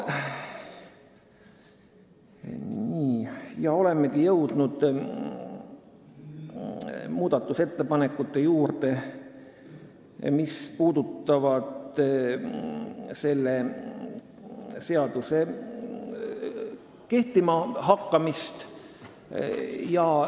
Nii, olemegi jõudnud muudatusettepanekute juurde, mis puudutavad seaduse kehtima hakkamist.